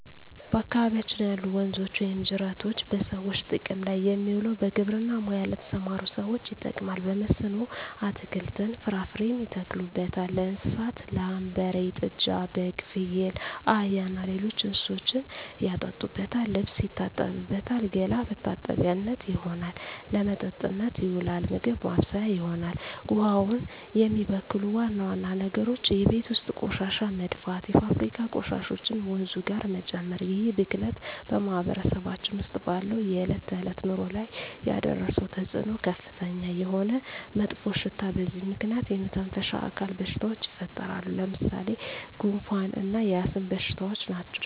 በአካባቢያችን ያሉ ወንዞች ወይም ጅረቶች በሰዎች ጥቅም ላይ የሚውለው በግብርና ሙያ ለተሠማሩ ሠዎች ይጠቅማል። በመስኖ አትክልትን፣ ፍራፍሬ ያተክሉበታል። ለእንስሳት ላም፣ በሬ፣ ጥጃ፣ በግ፣ ፍየል፣ አህያ እና ሌሎች እንስሶችን ያጠጡበታል፣ ልብስ ይታጠብበታል፣ ገላ መታጠቢያነት ይሆናል። ለመጠጥነት ይውላል፣ ምግብ ማብሠያ ይሆናል። ውሃውን የሚበክሉ ዋና ዋና ነገሮች የቤት ውስጥ ቆሻሻ መድፋት፣ የፋብሪካ ቆሻሾችን ወንዙ ጋር መጨመር ይህ ብክለት በማህበረሰባችን ውስጥ ባለው የዕለት ተዕለት ኑሮ ላይ ያደረሰው ተፅኖ ከፍተኛ የሆነ መጥፎሽታ በዚህ ምክንያት የመተነፈሻ አካል በሽታዎች ይፈጠራሉ። ለምሣሌ፦ ጉንፋ እና የአስም በሽታ ናቸው።